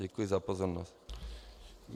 Děkuji za pozornost.